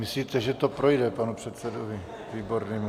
Myslíte, že to projde, panu předsedovi Výbornému.